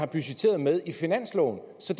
budgetteret med i finansloven så